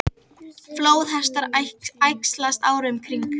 Flóðhestar æxlast árið um kring.